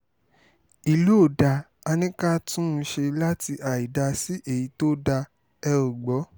ìlú ò dáa á ní ká tún un ṣe láti àìdáa sí èyí tó dáa ẹ̀ ò gbọ́